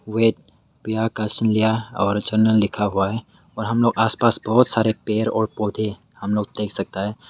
लिखा हुआ है और हम लोग आसपास बहुत सारे पेड़ और पौधे हम लोग देख सकता है।